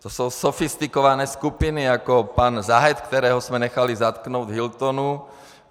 To jsou sofistikované skupiny jako pan Zadeh, kterého jsme nechali zatknout v Hiltonu.